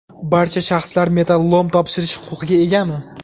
Barcha shaxslar metallolom topshirish huquqiga egami?